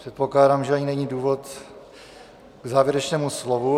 Předpokládám, že ani není důvod k závěrečnému slovu.